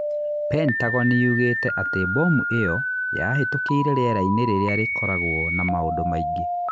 Pentagon yugĩte atĩ mbomu ĩyo yabitukĩire rĩera-inĩ rĩrĩa rĩkokoragwo na maũndũ maingĩ.